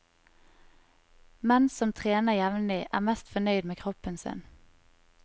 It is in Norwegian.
Menn som trener jevnlig er mest fornøyd med kroppen sin.